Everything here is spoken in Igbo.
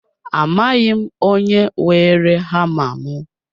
Amaghị m onye weere hama mụ